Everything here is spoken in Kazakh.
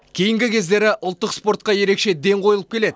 кейінгі кездері ұлттық спортқа ерекше ден қойылып келеді